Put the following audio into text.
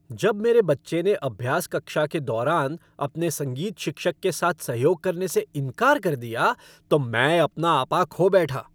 जब मेरे बच्चे ने अभ्यास कक्षा के दौरान अपने संगीत शिक्षक के साथ सहयोग करने से इनकार कर दिया तो मैं अपना आपा खो बैठा।